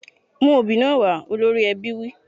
Mú obì náà wá! Olórí ẹbí wí.